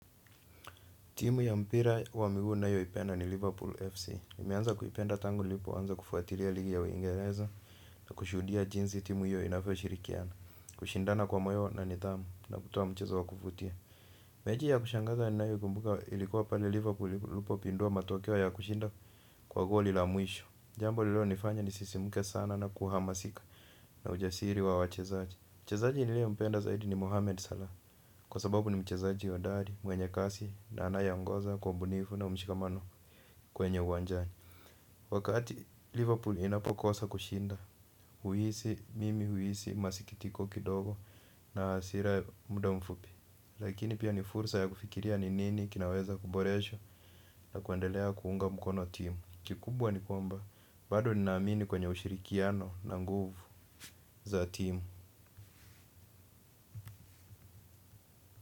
Timu ya mpira wa miguu ninayoipenda ni Liverpool FC. Nimeanza kuipenda tangu nilipoanza kufuatilia ligi ya Uingereza na kushuhudia jinsi timu hiyo inavyoshirikiana. Kushindana kwa moyo na nidhamu na kutoa mchezo wa kufutia. Mechi ya kushangaza ninayoikumbuka ilikuwa pale Liverpool ilipopindua matokeo na kushinda kwa goli la mwisho. Jambo lililonifanya nisisimka sana na kuhamasika na ujasiri wa wachezaji. Mchezaji niliyempenda zaidi ni Mohamed Salah kwa sababu ni mchezaji hodari mwenye kasi na anayeongoza kwa ubunifu na mshikamano uwanjani. Wakati Liverpool inapokosa kushinda, huhisi mimi huhisi masikitiko kidogo na hasira muda mfupi. Lakini pia ni fursa ya kufikiria ni nini kinaweza kuboreshwa na kuendelea kuunga mkono timu. Kikubwa ni kwamba bado ninaamini kwenye ushirikiano na nguvu za timu.